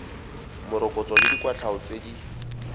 morokotso le dikwatlhao tse di